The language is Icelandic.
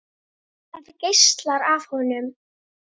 Það geislar af honum.